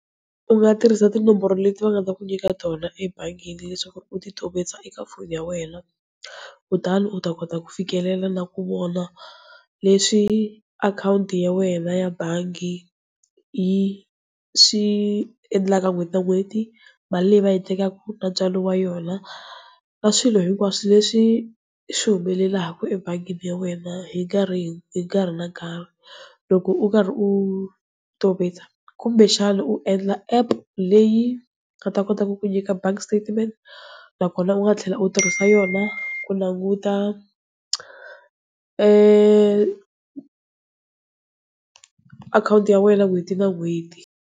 U nga tirhisa tinomboro leti va nga ta ku nyika tona ebangini, leswaku ri u ti tovetsa eka foni ya wena, kutani u ta kota ku fikelela na ku vona leswi akhawunti ya wena ya bangi yi swi endlaka n'hweti na n'hweti, mali leyi va yi tekaka na ntswalo wa yona. Na swilo hinkwaswo leswi swi humelelaka ebangini ya wena hi nkarhi hi hi nkarhi na karhi, loko u karhi u tovetsa kumbe xana u endla app leyi yi nga ta kotaka ku nyika bank statement nakona u nga tlhela u tirhisa yona ku languta akhawunti ya wena n'hweti na n'hweti.